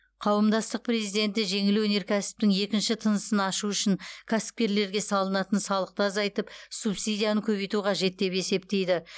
қауымдастық президенті жеңіл өнеркәсіптің екінші тынысын ашу үшін кәсіпкерлерге салынатын салықты азайтып субсидияны көбейту қажет деп есептейді